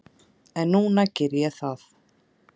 En núna geri ég það.